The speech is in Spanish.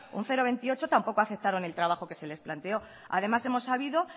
un cero coma veintiocho tampoco aceptaron el trabajo que se les planteó además hemos sabido